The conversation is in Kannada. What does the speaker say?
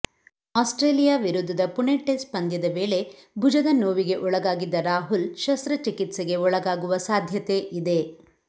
ಆಸ್ಟ್ರೇಲಿಯಾ ವಿರುದ್ಧದ ಪುಣೆ ಟೆಸ್ಟ್ ಪಂದ್ಯದ ವೇಳೆ ಭುಜದ ನೋವಿಗೆ ಒಳಗಾಗಿದ್ದ ರಾಹುಲ್ ಶಸ್ತ್ರಚಿಕಿತ್ಸೆಗೆ ಒಳಗಾಗುವ ಸಾಧ್ಯತೆ ಇದೆ